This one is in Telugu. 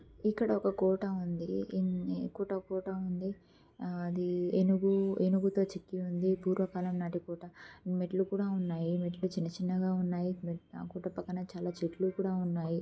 ఇక్కడ ఒక కోట ఉంది ఇంకో కోట ఉంది అది ఏనుగు ఏనుగు తో చెక్కి ఉంది పూర్వకాలం కోట మెట్లు కూడా ఉన్నాయి మెట్లు చిన్న చిన్నగ ఉన్నాయి చుట్టూ పక్కన చాల చెట్లు కూడా ఉన్నాయి.